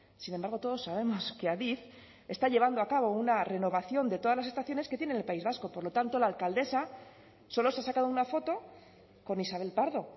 sin embargo todos sabemos que adif está llevando a cabo una renovación de todas las estaciones que tiene en el país vasco por lo tanto la alcaldesa solo se ha sacado una foto con isabel pardo